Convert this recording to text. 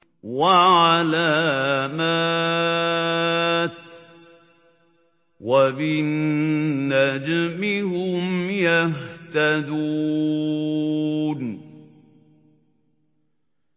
وَعَلَامَاتٍ ۚ وَبِالنَّجْمِ هُمْ يَهْتَدُونَ